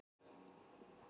En ekki í ár.